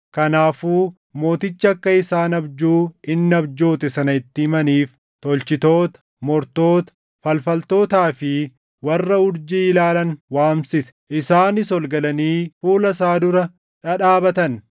Kanaafuu mootichi akka isaan abjuu inni abjoote sana itti himaniif tolchitoota, mortoota, falfaltootaa fi warra urjii ilaalan waamsise; isaanis ol galanii fuula isaa dura dhadhaabatan;